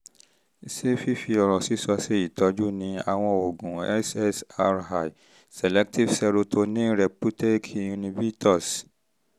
ṣé fífi ọ̀rọ̀ sísọ ṣe ìtọ́jú ni? àwọn oògùn ssri selective serotonin reputake inhibitors